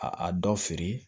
A a dɔ feere